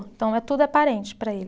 Então, é tudo aparente para eles.